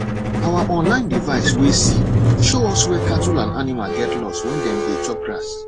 our online device way see show us where cattle and animal get lost when dem dey chop grass